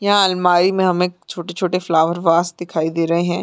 यहाँ आलमारी में हमें छोटे छोटे फ्लावर वाश दिखाई दे रहे हैं।